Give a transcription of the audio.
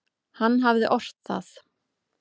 Hann hafði ort það.